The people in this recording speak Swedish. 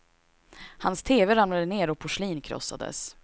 Hans teve ramlade ner och porslin krossades.